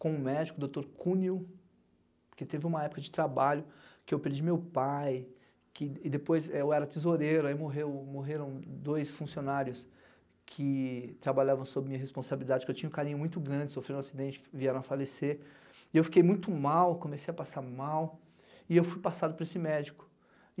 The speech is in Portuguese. com o médico doutor Cunil, porque teve uma época de trabalho que eu perdi meu pai, que, e depois eu era tesoureiro, aí morreu morreram dois funcionários que trabalhavam sob minha responsabilidade, que eu tinha um carinho muito grande, sofri um acidente, vieram a falecer, e eu fiquei muito mal, comecei a passar mal, e eu fui passado por esse médico.